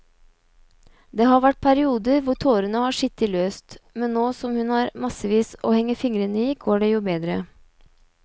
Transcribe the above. Det har vært perioder hvor tårene har sittet løst, men nå som hun har massevis å henge fingrene i går det jo bedre.